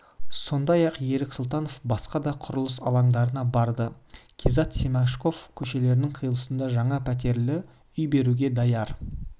сондай-ақ ерік сұлтанов басқа да құрылыс алаңдарына барды кизатов-семашко көшелерінің қиылысында және пәтерлі үй беруге даяр